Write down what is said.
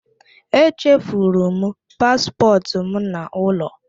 E chefuru m paspọtụ m n'ụlọ.